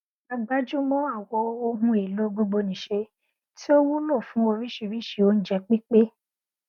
a gbájúmọ àwọn ohun èlò gbogbonìṣe tí ó wúlò fún oríṣiríṣi oúnjẹ pípé